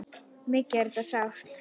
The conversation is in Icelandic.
Mikið er þetta sárt.